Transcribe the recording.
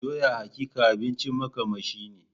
Doya hakika abincin makamashi ne.